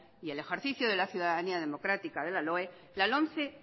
y el ejercicio de la ciudadanía democrática de la loe la lomce